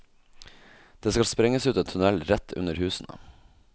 Det skal sprenges ut en tunnel rett under husene.